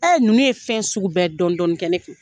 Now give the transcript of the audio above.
ninnu ye fɛn sugu bɛɛ dɔɔnin dɔɔnin kɛ ne kun